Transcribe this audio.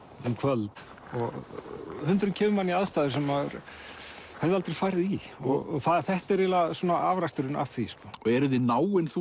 um kvöld og hundurinn kemur manni í aðstæður sem maður hefði aldrei farið í og þetta er svona afraksturinn af því sko eruð þið náin þú